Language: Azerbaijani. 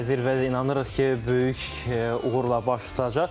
Və zirvədə inanırıq ki, böyük uğurla baş tutacaq.